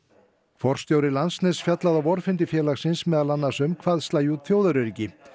forstjóri Landsnets fjallaði á vorfundi félagsins meðal annars um hvað slægi út þjóðaröryggi